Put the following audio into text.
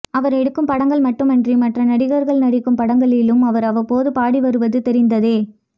அவர் எடுக்கும் படங்கள் மட்டுமன்றி மற்ற நடிகர்கள் நடிக்கும் படங்களிலும் அவர் அவ்வப்போது பாடி வருவது தெரிந்ததே